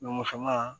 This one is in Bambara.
Musoman